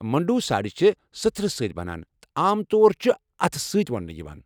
مُنڈوٗ ساڑِ چھِ سٕتھرٕ سۭتۍ بَنان تہٕ عام طور چھِ اتھہٕ سۭتۍ ووننہٕ یِوان۔